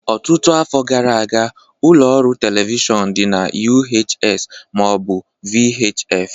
Ọtụtụ afọ gara aga, ụlọ ọrụ telivishọn dị na UHS ma ọ bụ VHF